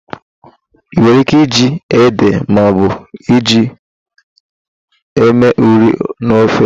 E nwere íké iji ede maọbụ ji eme ụrị n'ofe.